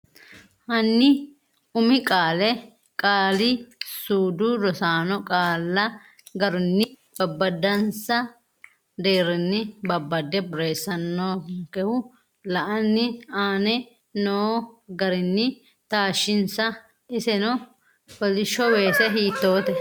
Hanni umi qaale qaali-suudu Rosaano qaalla garunni babbadansa deerrinni babbade borreessannonkehu la’anni aane noo garinni taashshinsa isseno koolisho weese hiitote?